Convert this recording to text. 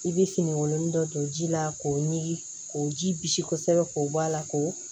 I bɛ finikolon dɔ don ji la k'o ɲimi k'o ji bisi kosɛbɛ k'o bɔ a la k'o